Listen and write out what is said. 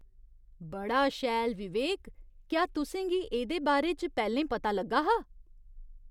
बड़ा शैल, विवेक! क्या तुसें गी एह्दे बारे च पैह्‌लें पता लग्गा हा?